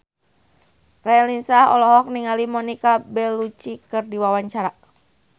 Raline Shah olohok ningali Monica Belluci keur diwawancara